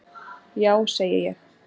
Já segi ég.